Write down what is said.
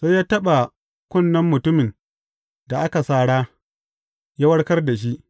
Sai ya taɓa kunnen mutumin da aka sara, ya warkar da shi.